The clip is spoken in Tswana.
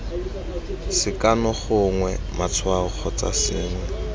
sekano gongwe matshwao kgotsa sengwe